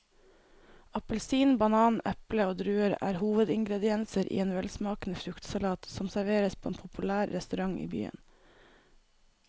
Appelsin, banan, eple og druer er hovedingredienser i en velsmakende fruktsalat som serveres på en populær restaurant i byen.